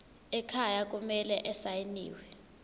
ekhaya kumele asayiniwe